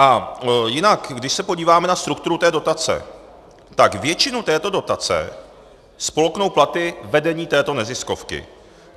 A jinak když se podíváme na strukturu té dotace, tak většinu této dotace spolknou platy vedení této neziskovky.